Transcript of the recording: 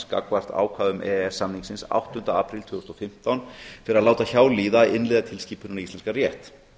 gagnvart ákvæðum e e s samningsins áttunda apríl tvö þúsund og fimmtán fyrir að láta hjá líða að innleiða tilskipunina í íslenskan rétt